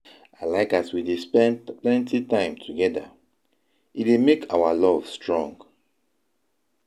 I like as we dey spend plenty time together, e dey make our love strong.